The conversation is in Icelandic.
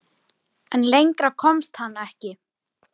En lengra komst hann ekki.